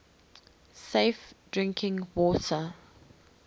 safe drinking water